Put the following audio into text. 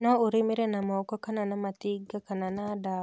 No ũlimire na moko kana na matinga kana na dawa